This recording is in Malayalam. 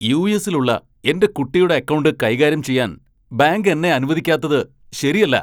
യു.എസ്സിലുള്ള എന്റെ കുട്ടിയുടെ അക്കൗണ്ട് കൈകാര്യം ചെയ്യാൻ ബാങ്ക് എന്നെ അനുവദിക്കാത്തത് ശരിയല്ല.